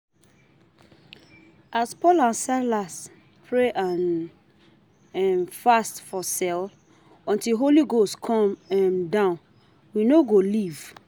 As Paul and Silas pray and um fast for cell until holy ghost come um down we no go leave